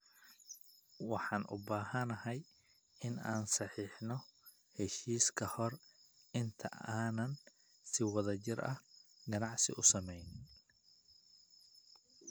Waxaan u baahanahay in aan saxiixno heshiis ka hor inta aanan si wadajir ah ganacsi u samayn.